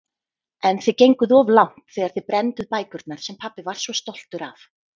En þið genguð of langt þegar þið brennduð bækurnar sem pabbi var svo stoltur af.